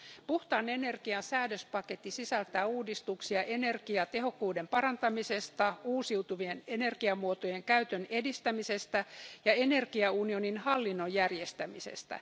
Puhtaan energian säädöspaketti sisältää uudistuksia energiatehokkuuden parantamisesta, uusiutuvien energiamuotojen käytön edistämisestä ja energiaunionin hallinnon järjestämisestä.